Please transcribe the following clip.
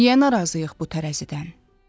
Niyə narazıyıq bu tərəzidən?